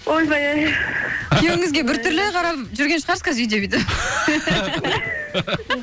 ойбай ай күйеуіңізге бір түрлі қарап жүрген шығарсыз қазір үйде де